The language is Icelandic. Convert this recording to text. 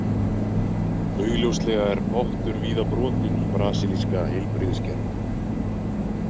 Augljóslega er pottur víða brotinn í brasilíska heilbrigðiskerfinu.